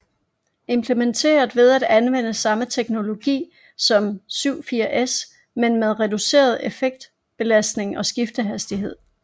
Implementeret ved at anvende samme teknologi som 74S men med reduceret effektbelastning og skiftehastighed